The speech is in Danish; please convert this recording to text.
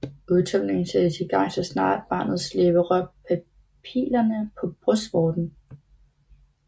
Udtømningen sættes i gang så snart barnets læber rører papillerne på brystvorten